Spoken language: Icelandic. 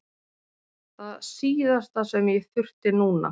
Það síðasta sem ég þurfti núna!